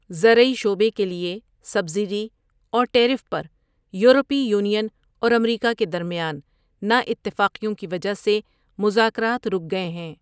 زرعی شعبے کے لیے سبسڈی اور ٹیرف پر یورپی یونین اور امریکہ کے درمیان نااتفاقیوں کی وجہ سے مذاکرات رک گئے ہیں۔